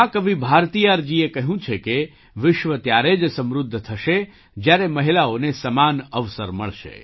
મહા કવિ ભારતિયારજીએ કહ્યું છે કે વિશ્વ ત્યારે જ સમૃદ્ધ થશે જ્યારે મહિલાઓને સમાન અવસર મળશે